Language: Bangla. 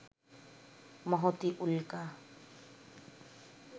মহতী উল্কা